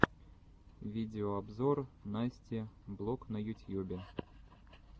видеообзор насти блог на ютьюбе